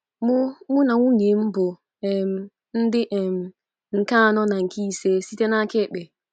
Mụ Mụ na nwunye m bụ um ndị um nke anọ na nke ise site n’aka ekpe.